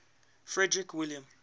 frederick william